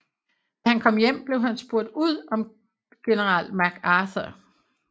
Da han kom hjem blev han spurgt ud om General MacArthur